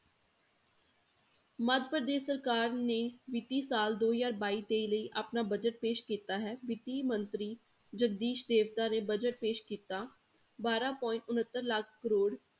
ਮੱਧਪ੍ਰਦੇਸ਼ ਸਰਕਾਰ ਨੇ ਵਿੱਤੀ ਸਾਲ ਦੋ ਹਜ਼ਾਰ ਬਾਈ ਤੇਈ ਲਈ ਆਪਣਾ budget ਪੇਸ਼ ਕੀਤਾ ਹੈ, ਵਿੱਤੀ ਮੰਤਰੀ ਜਗਦੀਸ ਨੇ budget ਪੇਸ਼ ਕੀਤਾ, ਬਾਰਾਂ point ਉਣਤਰ ਲੱਖ ਕਰੌੜ